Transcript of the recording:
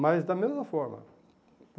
Mas da mesma forma.